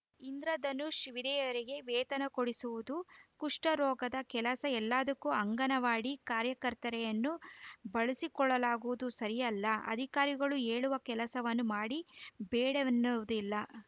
ಇಂದ್ರಧನುಷ್‌ ವಿಧಯರಿಗೆ ವೇತನ ಕೊಡಿಸುವುದು ಕುಷ್ಠರೋಗದ ಕೆಲಸ ಎಲ್ಲದಕ್ಕೂ ಅಂಗನವಾಡಿ ಕಾರ್ಯಕರ್ತೆಯರನ್ನು ಬಳಸಿಕೊಳ್ಳಗುವುದು ಸರಿಯಲ್ಲ ಅಧಿಕಾರಿಗಳು ಹೇಳುವ ಕೆಲಸವನ್ನು ಮಾಡಿ ಬೇಡವೆನ್ನುವುದಿಲ್ಲ